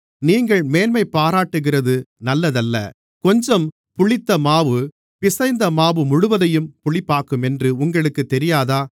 நீங்கள் மேன்மைபாராட்டுகிறது நல்லதல்ல கொஞ்சம் புளித்த மாவு பிசைந்த மாவு முழுவதையும் புளிப்பாக்குமென்று உங்களுக்குத் தெரியாதா